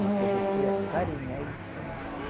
Mas se você acarinhar, ele fica manso